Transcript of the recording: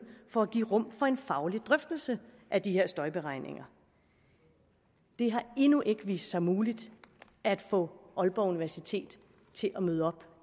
for at give rum for en faglig drøftelse af de her støjberegninger det har endnu ikke vist sig muligt at få aalborg universitet til at møde op